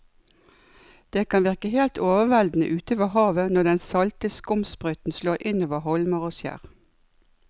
Det kan virke helt overveldende ute ved havet når den salte skumsprøyten slår innover holmer og skjær.